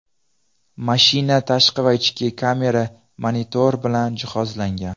Mashina tashqi va ichki kamera, monitor bilan jihozlangan.